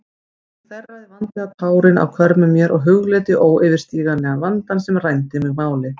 Ég þerraði vandlega tárin af hvörmum mér og hugleiddi óyfirstíganlegan vandann sem rændi mig máli.